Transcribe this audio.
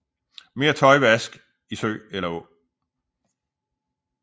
Mere tøjvask i sø eller å